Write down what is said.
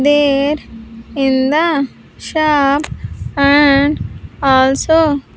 There in the shop and also.